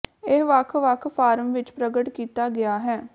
ਇਹ ਵੱਖ ਵੱਖ ਫਾਰਮ ਵਿਚ ਪ੍ਰਗਟ ਕੀਤਾ ਗਿਆ ਹੈ